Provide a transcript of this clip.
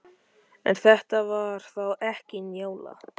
En þetta var þá ekki Njála.